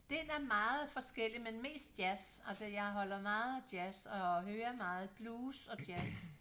Den er meget forskellig men mest jazz altså jeg holder meget af jazz og hører meget blues og jazz